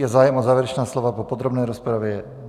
Je zájem o závěrečná slova po podrobné rozpravě?